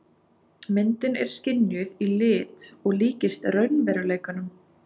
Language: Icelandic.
Myndin er skynjuð í lit og líkist raunveruleikanum.